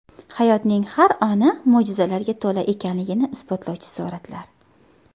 Hayotning har oni mo‘jizalarga to‘la ekanligini isbotlovchi suratlar .